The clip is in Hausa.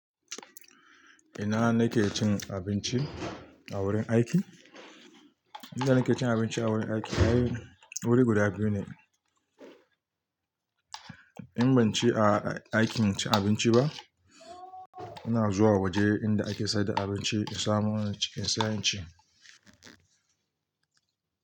Ina na ke cin abinci a wurin aiki? Inda nake cin abinci a wurin aiki, wuri guda biyu ne. In ban ci a aikin cin abinci ba, ina zuwa waje inda ake sayar da abinci in samo in ci, in siya in ci.